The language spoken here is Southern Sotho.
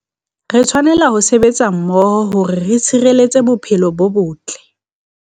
Re tshwanela ho sebetsa mmoho hore re tshireletse bophelo bo botle